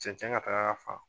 Cɛncɛn ka taga a fan.